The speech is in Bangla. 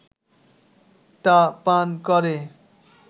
তা পান করে